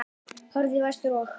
Horfðu í vestur og.